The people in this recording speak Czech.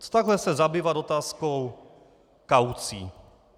Co takhle se zabývat otázkou kaucí?